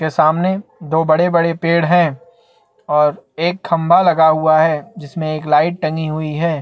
सामने दो बड़े-बड़े पेड़ है और एक खम्बा लगा हुआ है जिसमे एक लाईट टंगी हुई है।